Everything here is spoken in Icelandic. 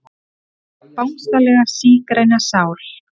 Ó Bangsalega sígræna sál.